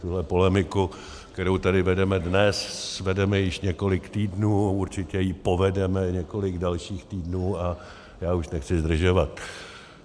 Tuhle polemiku, kterou tady vedeme dnes, vedeme již několik týdnů, určitě ji povedeme několik dalších týdnů a já už nechci zdržovat.